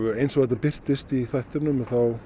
eins og þetta birtist í þættinum